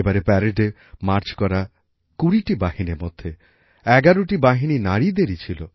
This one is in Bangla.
এবারের প্যারেডে মার্চ করা কুড়িটি বাহিনীর মধ্যে ১১ টি বাহিনী নারীদেরই ছিল